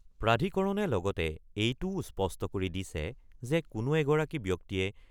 প্ৰাধিকৰণে লগতে এইটোও স্পষ্ট কৰি দিছে যে কোনো এগৰাকী ব্যক্তিয়ে